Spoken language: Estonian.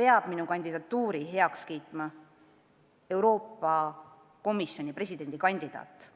peab minu kandidatuuri heaks kiitma Euroopa Komisjoni presidendi kandidaat.